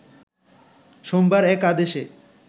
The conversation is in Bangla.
সোমবার এক আদেশে